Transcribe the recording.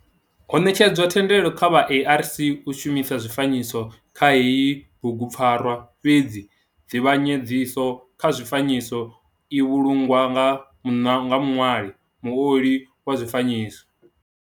Ho netshedzwa thendelo kha vha ARC u shumisa zwifanyiso kha heyi bugu pfarwa fhedzi nzivhanyedziso kha zwifanyiso i vhulungwa nga muṋwali, muoli wa zwifanyiso.